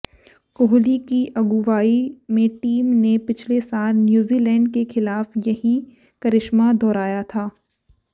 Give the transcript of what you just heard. कोहली की अगुवाई में टीम ने पिछले साल न्यूजीलैंड के खिलाफ यही करिश्मा दोहराया था